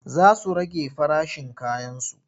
Za su rage farashin kayansu.